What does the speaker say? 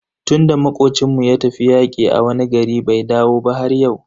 Tunda makocin mu ya tafi yaƙi a wani gari bai dawo ba har yau.